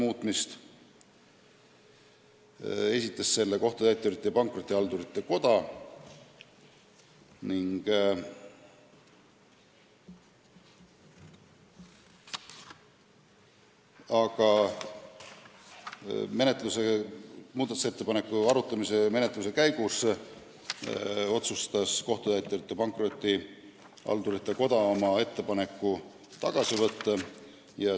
Selle esitas Kohtutäiturite ja Pankrotihaldurite Koda, aga ettepaneku arutamise käigus otsustas ta oma ettepaneku tagasi võtta.